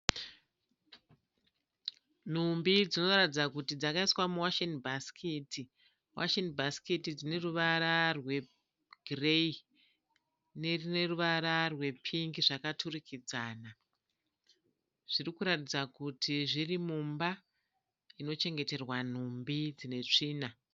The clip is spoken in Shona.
Nhumbi dzinoratidza kuti dzakaiswa muwasheni bhasikiti. Washeni bhasikiti dzine ruvara rwegireyi nerine ruvara rwepingi zvakaturikidzana. Zviri kuratidza kuti zviri mumba inochengeterwa nhumbi dzine tsvina.